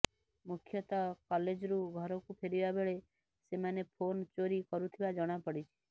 ମୁଖ୍ୟତଃ କଲେଜ୍ରୁ ଘରକୁ ଫେରିବା ବେଳେ ସେମାନେ ଫୋନ୍ ଚୋରି କରୁଥିବା ଜଣାପଡ଼ିଛି